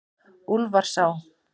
Úlfarsá